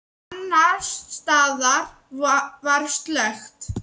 Annars staðar var slökkt.